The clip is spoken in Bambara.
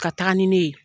Ka taga ni ne ye